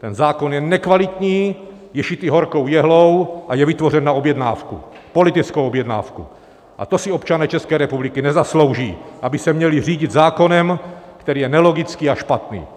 Ten zákon je nekvalitní, je šitý horkou jehlou a je vytvořen na objednávku, politickou objednávku, a to si občané České republiky nezaslouží, aby se měli řídit zákonem, který je nelogický a špatný.